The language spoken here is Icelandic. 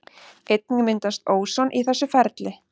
Einnig myndast óson í þessu ferli.